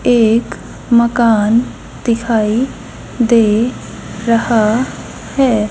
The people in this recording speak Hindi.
एक मकान दिखाई दे रहा है।